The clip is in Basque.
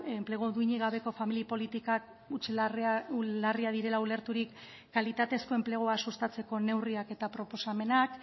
enplegu duinik gabeko familia politikak larriak direla ulerturik kalitatezko enplegua sustatzeko neurriak eta proposamenak